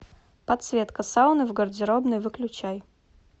подсветка сауны в гардеробной выключай